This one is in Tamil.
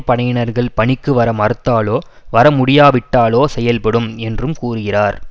படையினர்கள் பணிக்கு வர மறுத்தாலோ வரமுடியாவிட்டாலோ செயல்படும் என்றும் கூறுகிறார்